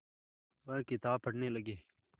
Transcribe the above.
वह किताब पढ़ने लगे